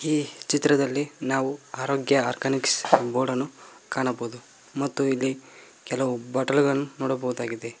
ಈ ಚಿತ್ರದಲ್ಲಿ ನಾವು ಆರೋಗ್ಯ ಆರ್ಗನಿಕ್ಸ್ ಬೋರ್ಡನ್ನು ಕಾಣಬಹುದು ಮತ್ತು ಇಲ್ಲಿ ಕೆಲವು ಬಾಟಲಿಗಳನ್ನು ನೋಡಬಹುದಾಗಿದೆ.